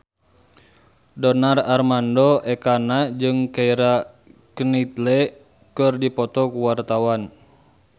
Donar Armando Ekana jeung Keira Knightley keur dipoto ku wartawan